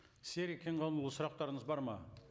серік кенғанұлына сұрқтарыңыз бар ма